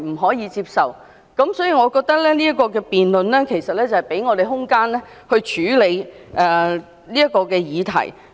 所以，我覺得這項辯論可給我們空間來處理這個議題。